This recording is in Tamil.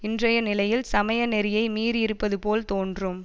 இன்றைய நிலையில் சமய நெறியை மீறியிருப்பதுபோல் தோன்றும்